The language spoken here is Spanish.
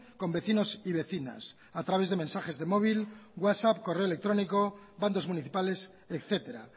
con vecinos y vecinas a través de mensajes de móvil whatsapp correo electrónico bandos municipales etcétera